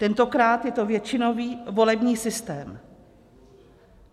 Tentokrát je to většinový volební systém.